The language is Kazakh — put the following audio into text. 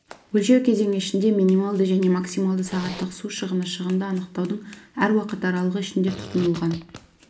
өлшеу кезеңі ішінде минималды және максималды сағаттық су шығыны шығынды анықтаудың әр уақыт аралығы ішінде тұтынылған